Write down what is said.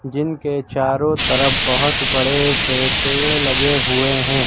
जिनके चारों तरफ बहोत बड़े से पेड़ लगे हुए हैं।